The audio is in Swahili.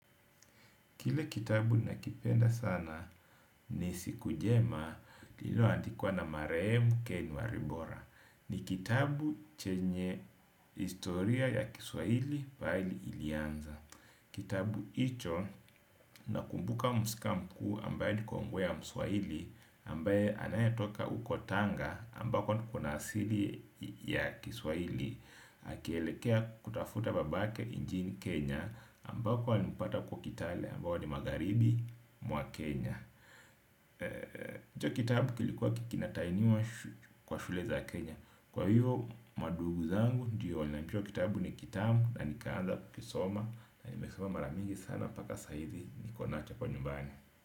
Kile kitabu nakipenda sana ni siku jema lilo andikwa na Marehemu Ken walibora. Ni kitabu chenye historia ya kiswahili pahali ilianza. Kitabu hicho nakumbuka mhusika mkuu ambaye ni kongwe ya mswahili ambaye anayetoka uko tanga ambako kuna asili ya kiswahili. Akielekea kutafuta babake nchini Kenya ambako walimpata huko kitale ambayo ni magharibi mwa Kenya hicho kitabu kilikuwa ki kinatahiniwa kwa shule za Kenya kwa hivo mandugu zangu ndio wanajua kitabu ni kitamu na nikaanza kukisoma na nimesoma mara mingi sana mpaka saa hizi nikonacho kwa nyumbani.